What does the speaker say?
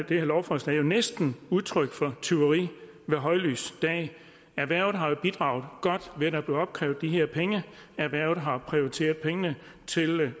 det her lovforslag jo næsten udtryk for tyveri ved højlys dag erhvervet har jo bidraget godt ved at der er blevet opkrævet de her penge erhvervet har prioriteret pengene til